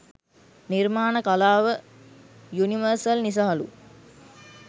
නිර්මාණ කලාව යුනිවර්සල් නිසාලු?